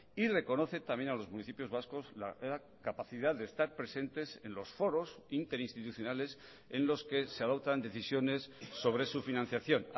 y reconoce también a los municipios vascos la capacidad de estar presentes en los foros interinstitucionales en los que se adoptan decisiones sobre su financiación